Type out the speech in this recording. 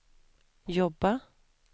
jobba